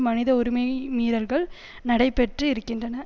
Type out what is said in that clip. மனித உரிமை மீறல்கள் நடைபெற்று இருக்கின்றன